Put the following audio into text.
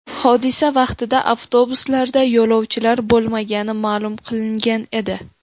Hodisa vaqtida avtobuslarda yo‘lovchilar bo‘lmagani ma’lum qilingan edi.